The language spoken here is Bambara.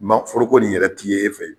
Ma foroko nin yɛrɛ ti ye e fɛ